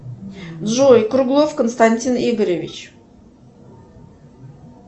джой круглов константин игоревич